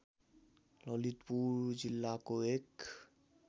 ललितपुर जिल्लाको एक